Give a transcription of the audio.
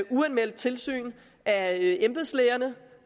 uanmeldt tilsyn af embedslægerne